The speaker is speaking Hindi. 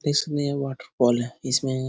इसलिए वॉटरफॉल है इसमें --